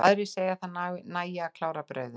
Aðrir segja að það nægi að klára brauðið.